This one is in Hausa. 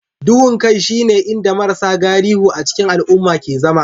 Duhun kai shine inda marasa galihu a cikin al'umma ke zama